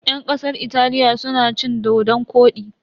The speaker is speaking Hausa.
Yan kasar Italiya suna cin dodon-kwodi.